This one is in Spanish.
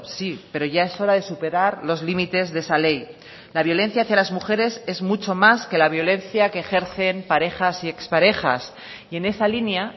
sí pero ya es hora de superar los límites de esa ley la violencia hacia las mujeres es mucho más que la violencia que ejercen parejas y exparejas y en esa línea